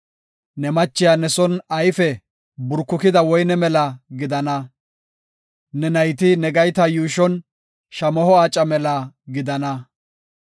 Ne machiya ne son ayfe duurkukida woyne mela gidana. Ne nayti ne gayta yuushon shamaho aaca mela gidana.